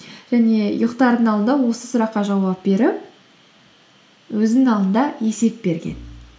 және ұйықтардың алдында осы сұраққа жауап беріп өзінің алдында есеп берген